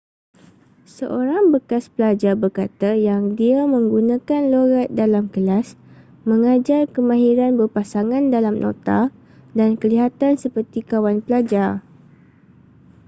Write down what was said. seorang bekas pelajar berkata yang dia 'menggunakan loghat dalam kelas mengajar kemahiran berpasangan dalam nota dan kelihatan seperti kawan pelajar.'